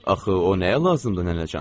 Axı o nəyə lazımdır nənəcan?